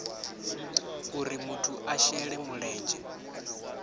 uri muthu a shele mulenzhe